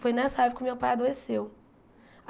Foi nessa época que meu pai adoeceu.